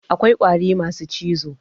Akwai ƙwari masu cizo